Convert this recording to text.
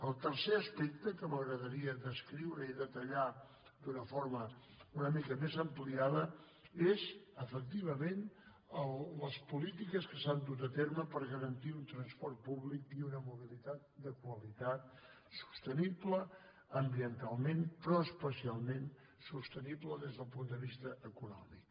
el tercer aspecte que m’agradaria descriure i detallar d’una forma una mica més ampliada són efectivament les polítiques que s’han dut a terme per garantir un transport públic i una mobilitat de qualitat sostenible ambientalment però especialment sostenible des del punt de vista econòmic